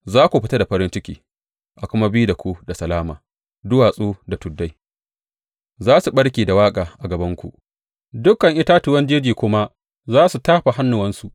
Za ku fita da farin ciki a kuma bi da ku da salama; duwatsu da tuddai za su ɓarke da waƙa a gabanku, dukan itatuwan jeji kuma za su tafa hannuwansu.